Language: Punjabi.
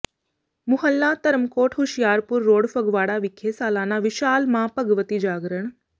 ਮੁਹੱਲਾ ਧਰਮਕੋਟ ਹੁਸ਼ਿਆਰਪੁਰ ਰੋਡ ਫਗਵਾੜਾ ਵਿਖੇ ਸਾਲਾਨਾ ਵਿਸ਼ਾਲ ਮਾਂ ਭਗਵਤੀ ਜਾਗਰਣ